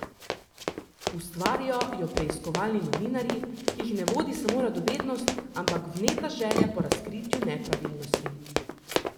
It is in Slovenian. Ustvarijo jo preiskovalni novinarji, ki jih ne vodi samo radovednost, ampak vneta želja po razkritju nepravilnosti.